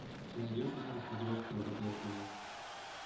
ты найдешь у себя на смотрешке лдпр тв